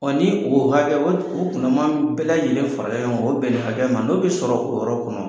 ni o hakɛ o kunama bɛɛ lajɛlen fara ɲɔgɔn o bɛn ni hakɛ ma n'o bɛ sɔrɔ o yɔrɔ kɔnɔ.